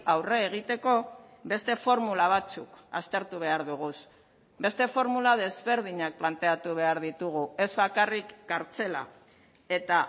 aurre egiteko beste formula batzuk aztertu behar dugu beste formula desberdinak planteatu behar ditugu ez bakarrik kartzela eta